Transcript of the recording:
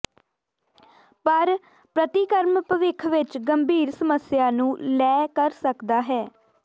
ਪਰ ਪ੍ਰਤੀਕਰਮ ਭਵਿੱਖ ਵਿੱਚ ਗੰਭੀਰ ਸਮੱਸਿਆ ਨੂੰ ਲੈ ਕਰ ਸਕਦਾ ਹੈ